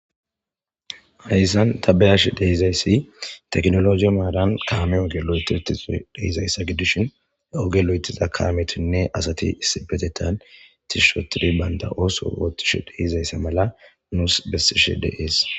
Hayssan tabayash dehizayssi teknologiy maadan kaame ogeloytitise dehizayssa gidishin he ogelo7etiza kaametinne asati issibetetan tishushotidi baynta ooso wootishe dehizaysse mala nuus bessishe deees